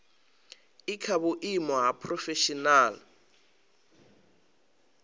i kha vhuimo ha phurofeshinala